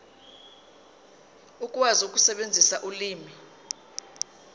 ukwazi ukusebenzisa ulimi